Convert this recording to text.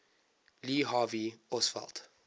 lee harvey oswald